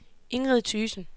Ingrid Thygesen